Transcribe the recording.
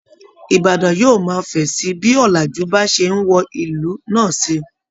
Ìbàdàn yóò máa fẹ̀ sí i bí ọ̀làjú bá ṣe ń wọ ìlú náà sí i